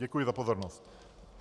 Děkuji za pozornost.